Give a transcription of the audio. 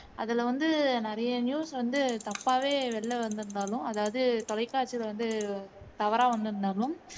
அதுல வந்து நிறைய news வந்து தப்பாவே வெளில வந்திருந்தாலும் அதாவது தொலைக்காட்சில வந்து தவறா வந்திருந்தாலும்